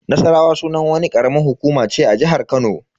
Nassarawa sunan wani karamar hukuma ce a jihar Kano.